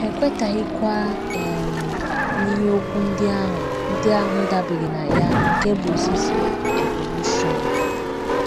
Ha ekwetaghịkwa um n’ihe okwu ndị ahụ ndị ahụ dabeere na ya nke bụ́ ozizi evolushọn.